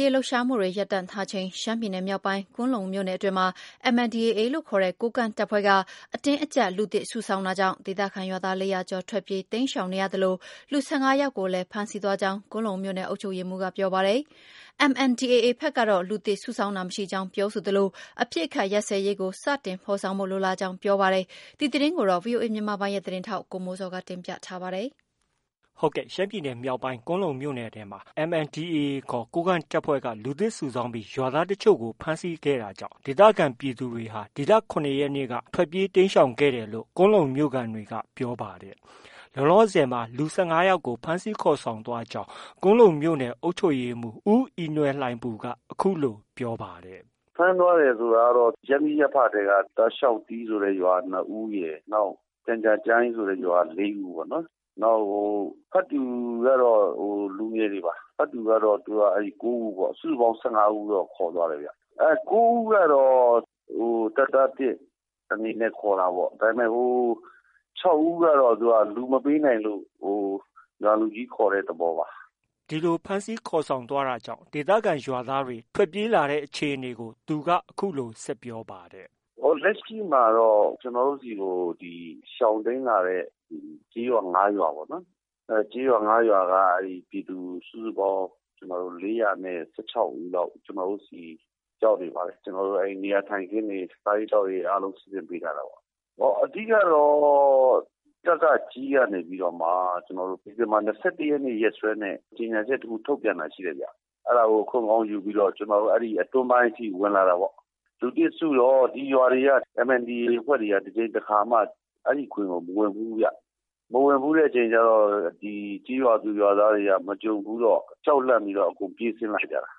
ရေးလှုပ်ရှားမှုတွေ ရပ်တန့်ထားချိန်မှာ ရှမ်းပြည်နယ် မြောက်ပိုင်း ကွမ်းလုံမြို့နယ်အတွင်းမှာ MNDAA ခေါ် ကိုးကန့်တပ်ဖွဲ့က အတင်းအကျပ် လူသစ်စုဆောင်း တာကြောင့် ဒေသခံရွာသား ၄၀၀ကျော် ထွက်ပြေးတိမ်းရှောင်နေရသလို လူ ၁၅ယောက်ကိုလည်း ဖမ်းဆီးသွားကြောင်း ကွမ်းလုံမြို့နယ် အုပ်ချုပ်ရေးမှုးက ပြောပါတယ်။ MNDAA ဘက်ကတော့ လူသစ်စုဆောင်းတာမရှိကြောင်း ပြောဆိုသလို အပစ်အခတ်ရပ်စဲရေးကို စတင်ဖော်ဆောင်ဖို့ လိုလားကြောင်း ပြောပါတယ်။ ဒီသတင်းကိုတော့ ဗွီအိုအေမြန်မာပိုင်းရဲ့သတင်းထောက် ကိုမိုးဇော်က တင်ပြထားပါတယ်။ ရှမ်းပြည်နယ် မြောက်ပိုင်း ကွမ်းလုံမြို့နယ်ထဲမှာ MNDAA ခေါ် ကိုးကန့်တပ်ဖွဲ့က လူသစ်စုဆောင်းပြီး ရွာသားအချို့ကို ဖမ်းဆီးခဲ့တာကြောင့် ဒေသခံပြည်သူတွေဟာ ဒီလ ၇ရက်နေ့က ထွက်ပြေးတိမ်းခဲ့တယ်လို့ ကွမ်းလုံမြို့ခံတွေက ပြောပါတယ်။ လောလောဆည်မှာ လူ ၁၅ယောက်ကို ဖမ်းဆီးခေါ်ဆောင်သွားကြောင်း ကွမ်းလုံမြို့နယ် အုပ်ချုပ်ရေးမှုး ဦးအီနွယ်လှိုင်ပူက အခုလို ပြောပါတယ်။ “ ဖမ်းသွားတယ်ဆိုတာကတော့ ရပ်မိရပ်ဖထဲက တာရှောက်တီးဆိုတဲ့ရွာက ၂ဦးရယ်။ ကျန်ကြားကျိုင်းရွာက ၄ဦးပေါ့နော်။ နောက်ဖတ်တူကတော့ လူငယ်တွေပါ။ ဖတ်တူကတော့ ၉ဦးပေါ့။ စုစုပေါင်း ၁၅ဦးတော့ ခေါ်သွားတယ်။ ၉ဦးကတော့ တပ်သားသစ် အနေနဲ့ ခေါ်တာပေါ့။ ဟို ၆ဦးကတော့ လူမပေးနိုင်လို့ ရွာလူကြီးခေါ်တဲ့သဘောပါ။” ဒီလိုဖမ်းဆီးခေါ်ဆောင်းသွားတာကြောင့် ဒေသခံရွာသားတွေ ထွက်ပြေးလာကြတဲ့အခြေအနေကို သူက အခုလို ဆက်ပြောပါတယ်။ “ လက်ရှိမှာတော့ ကျနော်တို့ဆီကို ရှောင်တိမ်းလာတဲ့ ကျေးရွာ ၅ရွာပေါ့နော်။ အဲဒီကျေးရွာ ၅ရွာက ပြည်သူ စုစုပေါင်း ၄၁၆ဦးလောက် ကျနော်တို့ဆီ ရောက်နေပါတယ်။ ကျနော်တို့ နေရာထိုင်ခင်းတွေ၊ စားရေးသောက်ရေးတွေ အားလုံး စီစဉ်ပေးထားတာပေါ့။ အဓိကတော့ ကကကြည်းကနေပြီးတော့မှ ဒီဇင်ဘာ ၂၁ရက်နေ့ ရက်စွဲနဲ့ ကြေညာချက် တစ်ခု ထုတ်ပြန်တာရှိတယ်။ အဲဒါကို အခွင့်ကောင်းယူပြီးတော့ အတွင်းပိုင်းအထိ ဝင်လာတာပေါ့။ လူသစ်စုတော့ ဒီရွာတွေက MNDAA အဖွဲ့တွေက တစ်ကြိမ်တစ်ခါမှ အဲဒီဂွင်ကို မဝင်ဖူးဘူးဗျ။ မဝင်ဖူးတဲ့အခါကျ ကျေးရွာသူရွာသားတွေက မကြုံဘူးတော့ ကြောက်လန့်ပြီးတော့ အကုန်ပြေးဆင်းလာကြတာ။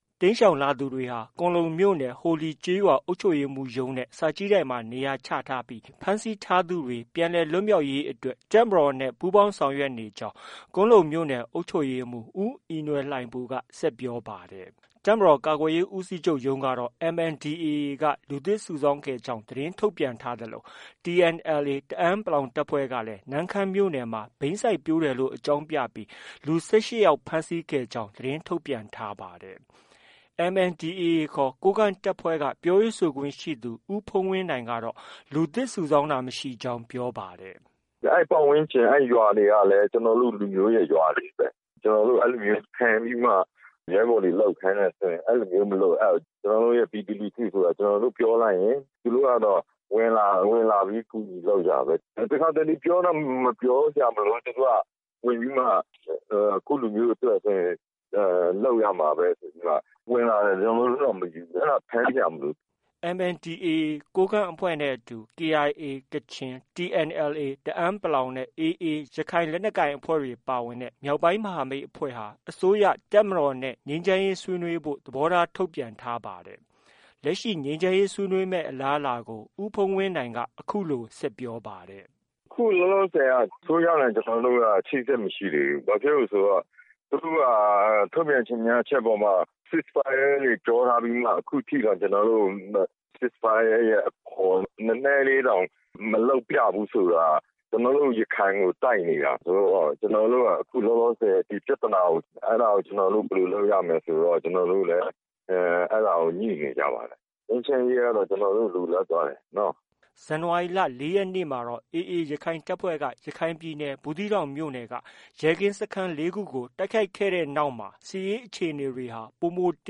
” တိမ်းရှောင်လာသူတွေဟာ ကွမ်းလုံမြို့ ဟိုလီကျေးရွာ အုပ်ချုပ်ရေးမှုးရုံးနဲ့ စာကြည့်တိုက်မှာ နေရာချထားပြီး ဖမ်းဆီးထားသူတွေ ပြန်လည်လွတ်မြောက်ရေးအတွက် တပ်မတော်နဲ့ပူးပေါင်း ဆောင်ရွက်နေကြောင်း ကွမ်းလုံမြို့နယ် အုပ်ချုပ်ရေးမှုး ဦးအီနွယ်လှိုင်ပူက ဆက်ပြောပါတယ်။ တပ်မတော် ကာကွယ်ရေးဦးစီးချုပ်ရုံးကတော့ MNDAAက လူသစ်စုဆောင်းခဲ့ကြောင်း သတင်းထုတ်ပြန်ထားသလို TNLA တအန်း တပ်ဖွဲ့ကလည်း နမ့်ခမ်းမြို့နယ်မှာဘိန်းစိုက်ပျိုးတယ်လို့ အကြောင်းပြပြီး လူ ၁၈ယောက်ဖမ်းဆီးခဲ့ကြောင်း သတင်းထုတ်ပြန်ထားပါတယ်။ MNDAA ခေါ် ကိုးကန့်တပ်ဖွဲ့ကပြောရေးဆိုခွင့်ရှိသူ ဦးဖုန်းဝင်းနိုင်ကတော့ လူသစ်စုဆောင်းတာ မရှိကြောင်း ပြောပါတယ်။ “ အဲဒီပတ်ဝန်းကျင် အဲဒီရွာတွေကလည်း ကျနော်တို့ရဲ့ ရွာတွေပဲ။ ကျနော်တို့ အဲလိုမျိုး ဖမ်းပြီးမှ ရဲဘော်တွေ လုပ်ခိုင်းတယ်ဆိုရင် အဲလိုမျိုး မလိုအပ်ဘူး။ ကျနော်တို့ ပြည်သူလူထုဆိုတာ ကျနော်တို့ ပြောလိုက်ရင် ဝင်လာတာ။ ဝင်လာပြီး ကူညီလုပ်ကြတာ။ တစ်ခါတစ်လေ ပြောတောင် ပြောစရာမလိုဘူး သူတို့က ဝင်ပြီးမှ ကိုယ့်လူမျိုးအတွက်ဆိုရင် လုပ်ရမှာပဲ ဆိုပြီးမှ ဝင်လာတယ်။ ကျနော်တို့က မယူဘူး။ အဲဒါ ဖမ်းစရာ မလိုဘူး။” MNDAA ကိုးကန့် အဖွဲ့နဲ့အတူ KIA ကချင်၊TNLA တအန်း နဲ့ AA ရခိုင်လက်နက်ကိုင် အဖွဲ့တွေပါဝင်တဲ့ မြောက်ပိုင်းမဟာမိတ်အဖွဲ့ဟာ အစိုးရ၊ တပ်မတော်နဲ့ ငြိမ်းချမ်းရေးဆွေးနွေးဖို့ သဘောထားထုတ်ပြန်ထားပါတယ်။ လက်ရှိ ငြိမ်းချမ်းရေးဆွေးနွေးမယ့် အလားအလာကိုဦးဖုန်းဝင်းနိုင်က အခုလို ဆက်ပြောပါတယ်။ “ အခုလောလောဆည်က အစိုးရနဲ့ ကျနော်တို့က အချိတ်အဆက် မရှိသေးဘူး။ သူတို့က ထုတ်ပြန်ကြေညာချက်အပေါ်မှာ cease fire တွေ ပြောထားပြီးမှ။ ခုထိတောင် ကျနော်တို့ကို cease fire ရဲ့ အပေါ် နည်းနည်းလေးတောင် မလုပ်ပြဘူးဆိုတာ ကျနော်တို့ ရခိုင်ကိုတိုက်နေတာဆိုတော့ အဲဒါကို ကျနော်တို့ ဘယ်လို လုပ်ရမလဲဆိုပြီး ကျနော်တို့လည်း အခုလောလောဆည် အဲဒါကို ညှိနေကြပါတယ်။ ငြိမ်းချမ်းရေးကတော့ ကျနော်တို့ လိုလားပါတယ်နော။ ” ဇန်နဝါရီလ ၄ရက်နေ့မှာတော့ AA ရခိုင်တပ်ဖွဲ့က ရခိုင်ပြည်နယ် ဘူးသီးတောင်မြို့နယ်က ရဲကင်းစခန်း ၄ခုကို တိုက်ခိုက်ခဲ့တဲ့နောက်မှာတော့ စစ်ရေးအခြေအနေတွေဟာ ပိုမိုတ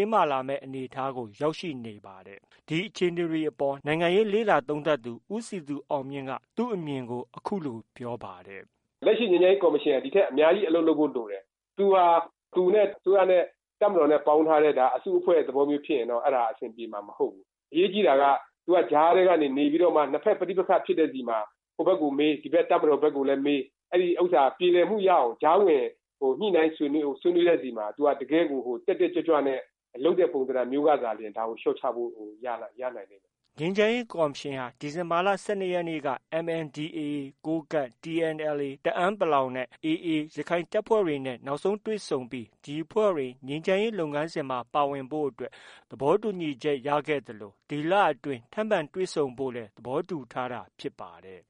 င်းမာလာမယ့် အနေအထားကို ရောက်ရှိနေပါတယ်။ ဒီအခြေအနေတွေ အပေါ် နိုင်ငံရေးလေ့လာသုံးသပ်သူ ဦးစည်သူအောင်မြင့်က သူ့အမြင်ကို အခုလို ပြောပါတယ်။ “ လက်ရှိ ငြိမ်းချမ်းရေးကော်မရှင်က ဒီထက် အများကြီး အလုပ်လုပ်ဖို့ လိုတယ်။ သူဟာ သူနဲ့ အစိုးရနဲ့ တပ်မတော်နဲ့ ပေါင်းထားတဲ့ အစုအဖွဲ့မျိုးဖြစ်ရင်တော့ အဲဒါ အဆင်ပြေမှာ မဟုတ်ဘူး။ အရေးကြီးတာက သူက ကြားထဲကနေ နေပြီးတော့မှ နှစ်ဘက် ပဋိပက္ခဖြစ်တဲ့ဆီမှာ ဟိုဘက်ကို မေး၊ ဒီဘက် တပ်မတော်ဘက်ကိုလည်း မေး အဲဒီဥစ္စာ ပြေလည်မှုရအောင် ကြားဝင် ညှိနှိုင်းဆွေးနွေးတဲ့ ဆီမှာ သူက တကယ်ကို တက်တက်ကြွကြွနဲ့ လုပ်တဲ့ ပုံသဏ္ဍာန်မျိုးကသာလျှင် ဒါကို လျော့ချဖို့ ရနိုင်လိမ့်မယ်။” ငြိမ်းချမ်းရေးကော်မရှင်ဟာ ဒီဇင်ဘာလ ၁၂ရက်နေ့က MNDAA ကိုးကန့် ၊TNLA တအန်း နဲ့ AA ရခိုင်လက်နက်ကိုင်အဖွဲ့တွေ နောက်ဆုံးတွေ့ဆုံခဲ့ပြီး ဒီအဖွဲ့တွေ ငြိမ်းချမ်းရေးလုပ်ငန်းစဉ်မှာ ပါဝင်ဖို့အတွက် သဘောတူညီချက် ရခဲ့သလို ဒီလအတွင်း ထပ်မံတွေ့ဆုံဖို့လည်း သဘောတူထားတာဖြစ်ပါတယ်